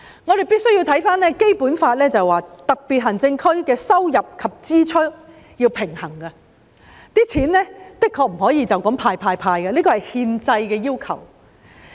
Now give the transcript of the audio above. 我們必須看回《基本法》，當中訂明特別行政區要力求收支平衡，不可以隨便動用儲備"派錢"，這是憲制要求。